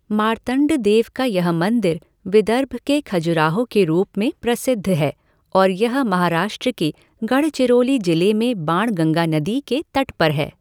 मार्तंडदेव का यह मंदिर विदर्भ के खजुराहो के रूप में प्रसिद्ध है और यह महाराष्ट्र के गढ़चिरोली जिले में बाणगंगा नदी के तट पर है।